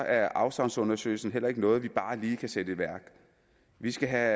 er afsavnsundersøgelsen heller ikke noget vi bare lige kan sætte i værk vi skal have